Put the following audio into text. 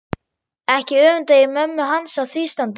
Ekki öfunda ég mömmu hans af því standi